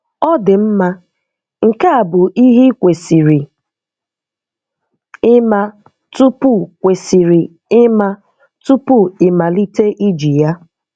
Ọdimma, nke a bụ ihe i kwesịrị ịma tupu kwesịrị ịma tupu ịmalite iji ya.